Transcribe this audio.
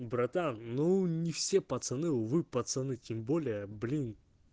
братан ну не все пацаны увы пацаны тем более блин